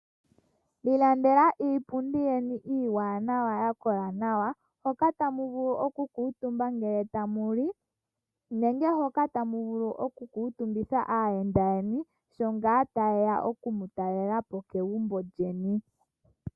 Ilandela iipundi yeni iiwanawa ya kola nawa, hoka ta muvulu oku kantumba ngele ta mu li, nenge hoka ta muvulu oku kuu tumbitha aayenda yeni, sho ngaa ta ye ya oku mu ta lelapo kegumbo lyeni.